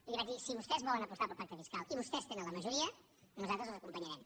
i li vaig dir si vostès volen apostar pel pacte fiscal i vostès tenen la majoria nosaltres els acompanyarem